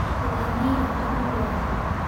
Kũgĩa na iroto nĩ ũndũ wa bata.